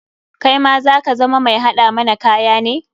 Kaima za ka zama mai haɗa mana kaya ne?